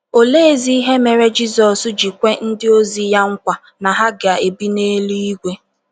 Oleezi ihe mere Jizọs ji kwe ndịozi ya nkwa na ha ga - ebi n’eluigwe?